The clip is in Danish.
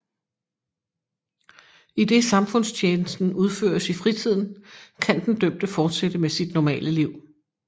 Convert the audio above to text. Idet samfundstjenesten udføres i fritiden kan den dømte fortsætte med sit normale liv